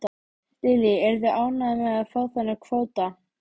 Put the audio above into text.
Lillý: Eruð þið ánægðir með að fá þennan kvóta?